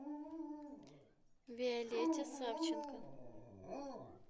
виолетте савченко